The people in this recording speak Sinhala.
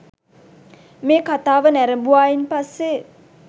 මේ කතාව නැරඹුවායින් පස්සෙ